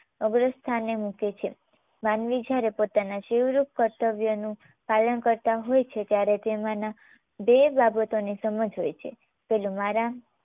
અગ્ર સ્થાને મૂકે છે. માનવી જ્યારે પોતાના શિવ રૂપ કર્તવ્યનું પાલન કરતાં હોય છે ત્યારે તેમાંના બે બાબતોની સમજ હોય છે. પહેલું મારા